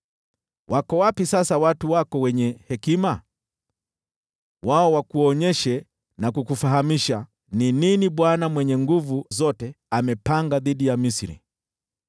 Wako wapi sasa watu wako wenye hekima? Wao wakuonyeshe na kukufahamisha ni nini Bwana Mwenye Nguvu Zote amepanga dhidi ya Misri.